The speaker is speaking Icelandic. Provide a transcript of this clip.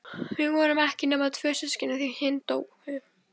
Við vorum ekki nema tvö systkinin, því hin dóu.